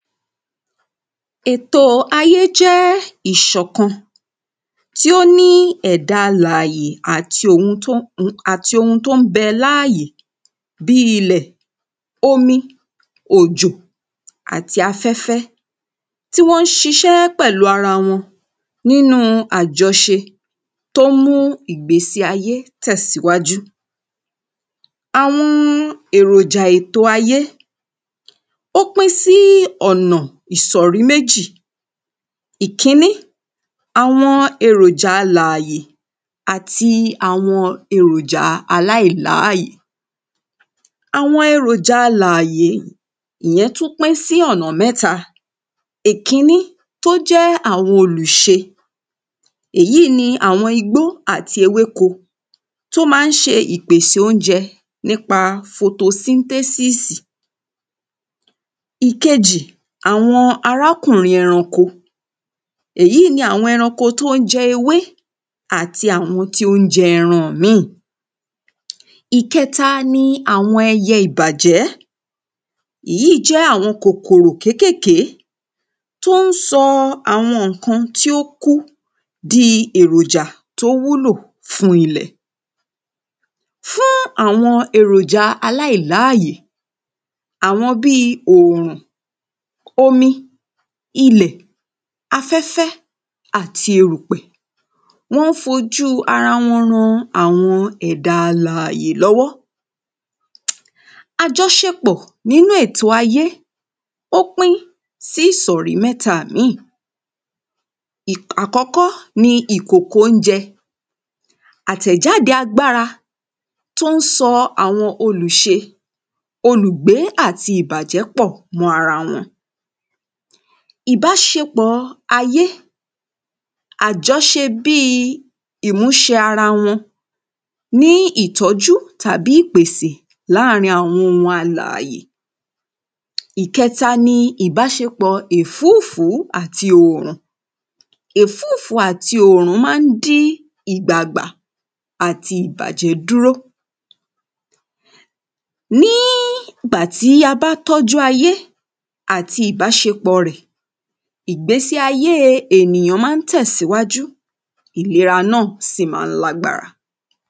Ètò ayé jẹ́ ìṣọ̀kan tí ó ní ẹ̀dá alàyè àti ohun tó ń bẹ láàyè bí ilẹ̀ omi òjò àti afẹ́fẹ́ tí wọ́n ń ṣiṣẹ́ pẹ̀lú ara wọn nínú ajọṣe tó ń mú ìgbésí ayé tẹ̀síwájú. Àwọn èròjà ètò ayé ó pín sí ọ̀nà ìsọ̀rí méjì ìkíní àwọn eròjà alàyè àti àwọn eròjà aláìláyè. Àwọn eròjà alàyè ìyẹn tún pín sí ọ̀nà mẹ́ta ìkíní tó jẹ́ àwọn olùṣe èyí ni àwọn igbó àtewéko tó má ń ṣe ìpèsè óúnjẹ nípa photosynthesis. Ìkejì àwọn arákùnrin ẹranko èyí ni àwọn ẹranko tó ń jẹ ewé àti àwọn tí ó ń jẹ ẹran míì. Ìkẹta ni àwọn ẹyẹ ìbàjẹ́ èyí jẹ́ àwọn kòkòrò kékékèé tó ń sọ àwọn nǹkan tí ó ń kú di èròjà tó wúlò fún ilẹ̀. Fún àwọn èròjà aláìláàyè àwọn bí òrùn omi ilẹ̀ afẹ́fẹ́ àti erùpẹ̀ wọ́n fojú ara wọn ran àwọn ẹ̀dá alàyè lọ́wọ́. Àjọṣepọ̀ nínú ètò ayé ó pín sí ìsọ̀rí mẹ́ta ìmíì àkọ́kọ́ ni ìkòkò óúnjẹ àtẹ̀jáde agbára tó ń sọ àwọn olùṣe olùgbé àti ìbàjẹ́ pọ̀ mọ́ra wọn. Ìbáṣepọ̀ ayé àjọṣe bí ìmúṣẹ ara wọn ní ìtọ́jú tàbí ìpèsè lârin àwọn alàyè. Ìkẹta ni ìbáṣepọ̀ èfúfùú àti òrùn èfúfùú àti òrùn má ń dí ìgbà gbà àti ìbájẹ́ dúró. Ní ìgbà tí a bá tọ́jú ajé àti ìbáṣepọ̀ rẹ̀ ìgbésí ayé ènìyàn má ń tẹ̀síwájú ìlera náà sì má ń lágbára.